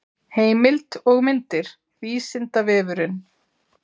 heimild og myndir vísindavefurinn